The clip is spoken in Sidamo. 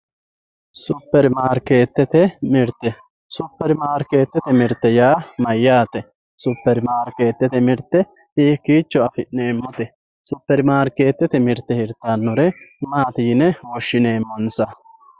Super mariketete mirite, super maariketete mirite yaa mayate, super maariketete mirite hiiko afineemote, super maariketete mirite hiritanore maati yine woshineemonsa